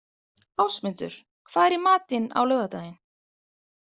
Ásmundur, hvað er í matinn á laugardaginn?